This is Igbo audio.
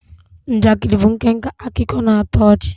Njakịrị bụ nkenke akụkọ na-atọ ọchị